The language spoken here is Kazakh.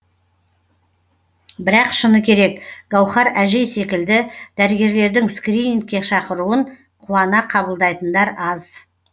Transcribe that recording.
бірақ шыны керек гауһар әжей секілді дәрігерлердің скринингке шақыруын қуана қабылдайтындар аз